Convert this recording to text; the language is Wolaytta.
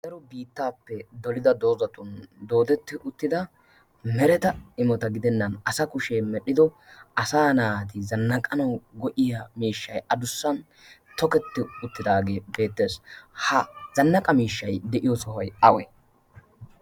aho biittaappe dolida doozatun doodetti uttida mereta imota gidennan asa kushee medhdhido asa naati zannaqanau go'iya miishshai adussan toketti uttidaagee beettees ha zannaqa miishshai de'iyo sohoy awe?